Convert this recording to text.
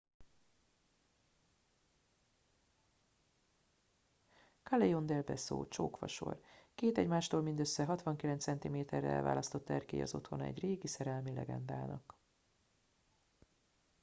callejon del beso csók fasor. két egymástól mindössze 69 centiméterre elválasztott erkély az otthona egy régi szerelmi legendának